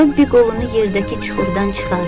Robbi qolunu yerdəki çuxurdan çıxardı.